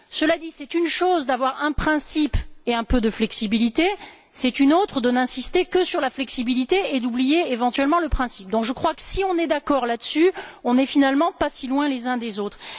Cela dit, c'est une chose d'avoir un principe et un peu de flexibilité, c'est une autre de n'insister que sur la flexibilité et d'oublier, éventuellement, le principe. Par conséquent, je crois que si nous sommes d'accord sur ce point, nous ne sommes finalement pas si loin les uns des autres.